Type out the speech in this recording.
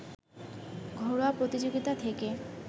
ঘরোয়া প্রতিযোগিতা থেকে